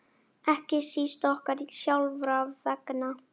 Ekki síst okkar sjálfra vegna.